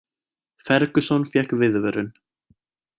Ferguson fékk viðvörun